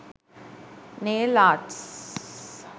nail arts